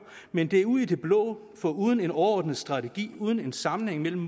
men det er ud i det blå for uden en overordnet strategi uden en sammenhæng mellem